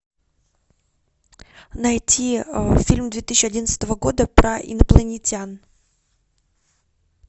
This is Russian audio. найти фильм две тысячи одиннадцатого года про инопланетян